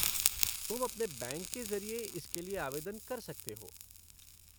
तुम अपने बैंक के ज़रिए इसके लिए आवेदन कर सकते हो।